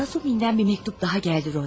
Rasumixdən bir məktub daha gəldi, Rodiya.